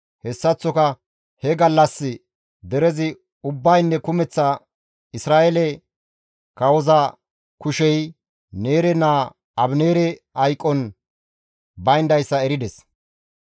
Hessaththoka he gallas derezi ubbaynne kumeththa Isra7eeley kawoza kushey Neere naa Abineere hayqon bayndayssa erides.